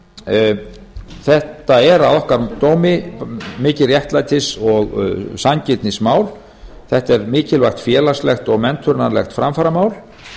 þetta er að okkar dómi mikið réttlætis og sanngirnismál þetta er mikilvægt félagslegt og menntunarlegt framfaramál